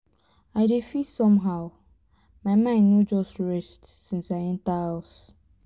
i dey feel somehow my mind no just rest since i enter house